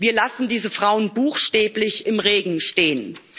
Wir lassen diese Frauen buchstäblich im Regen stehen.